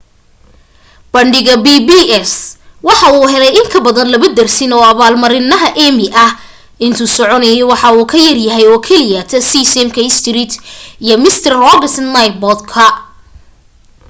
bandhiga pbs waxa uu helay in ka badan laba dersin oo abaalmarinaha emmy ah intuu socdayna waxa uu ka yaryahay oo keliya sesame street iyo mister rogers' neighborhood